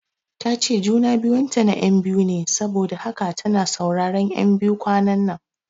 Tace juna biyun ta na ƴan biyu ne saboda haka tana sauraron ƴan biyu kwananan